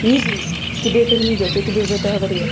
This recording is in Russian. не злись тебе это не идёт я тебе уже это говорила